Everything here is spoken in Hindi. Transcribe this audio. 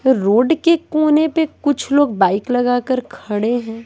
रोड के कोने पे कुछ लोग बाइक लगाकर खड़े हैं।